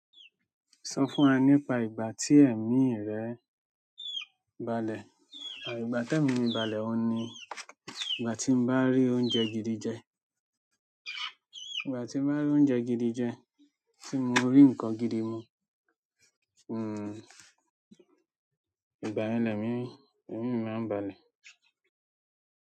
Sọ fún wa nípa ìgbà tí ẹ̀mí rẹ ń balẹ̀ à ìgbà tí ẹ̀mí mi balẹ̀ òhun ní. Ìgbà tí n bá rí oúnjẹ gidi jẹ, ìgbà tí mo bá rí oúnjẹ gidi jẹ, tí mo rí nǹkan gidi mu hunn, ìgbà yẹn ni ẹ̀mí, ẹ̀mí mi máa n balẹ̀.